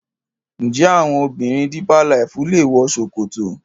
njé àwọn obìrin deeper life lẹ wò ṣòkòtò?